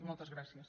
moltes gràcies